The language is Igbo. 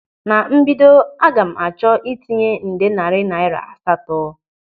Na mbido, aga m achọ ịtinye nde narị naira asatọ.